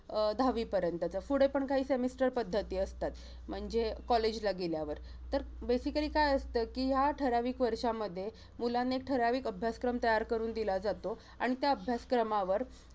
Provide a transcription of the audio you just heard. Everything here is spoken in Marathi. अं दहावी पर्यंतच. पुढे पण काही semester पद्धती असतात. म्हणजे collage ला गेल्यावर. तर basically काय असतं कि, ह्या ठराविक वर्षांमध्ये, मुलांना एक ठराविक अभ्यासक्रम तयार करून दिला जातो, आणि त्या अभ्यासक्रमावर